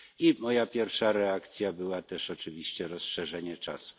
I moją pierwszą reakcją było też oczywiście rozszerzenie czasu.